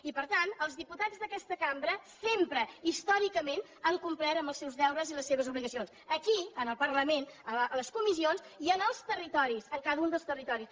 i per tant els diputats d’aquesta cambra sempre històricament han complert amb els seus deures i les seves obligacions aquí en el parlament en les comissions i en els territoris en cada un dels territoris